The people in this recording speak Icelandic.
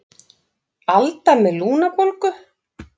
Alda með lungnabólgu.